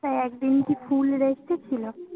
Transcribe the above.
একদিন কি ফুল Rest এ ছিলো?